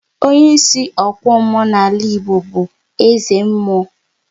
Onye ịsị okwu mmụọ n'ala Igbo bụ eze mmụọ